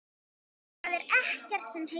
Það er ekkert sem heitir!